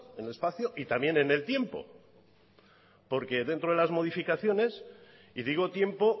en el espacio y también en el tiempo porque dentro de las modificaciones y digo tiempo